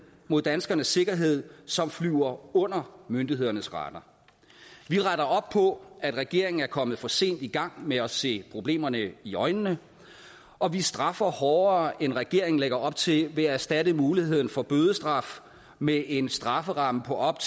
mod danskernes sikkerhed som flyver under myndighedernes radar vi retter op på at regeringen er kommet for sent i gang med at se problemerne i øjnene og vi straffer hårdere end regeringen lægger op til ved at erstatte muligheden for bødestraf med en strafferamme på op